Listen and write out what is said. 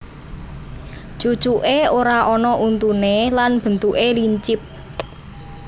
Cucuké ora ana untuné lan bentuké lincip